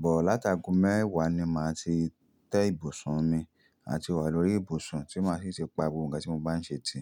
But láti aago mẹ́wàá ni màá ti tẹ́ ibùsùn mi àti wà lórí ibùsùn tí màá sì ṣe pa gbogbo ǹkan tí mo bá ń ṣe ti.